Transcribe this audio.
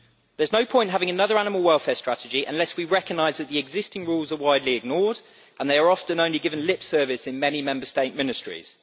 There is no point in having another animal welfare strategy unless we recognise that the existing rules are widely ignored and that they are often only given lip service in many Member State ministries.